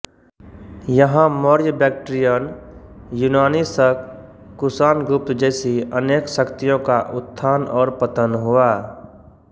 यहां मौर्य बैक्ट्रियन यूनानी शक कुषाण गुप्त जैसी अनेक शक्तियों का उत्थान और पतन हुआ